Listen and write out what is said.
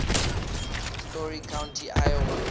story county iowa